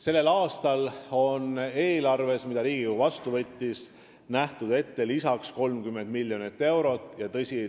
Sellel aastal on neile eelarves, mille Riigikogu vastu võttis, 20 miljonit eurot lisaks ette nähtud.